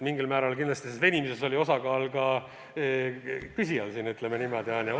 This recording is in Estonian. Mingil määral oli selles venimises oma osa ka küsijal, ütleme niimoodi.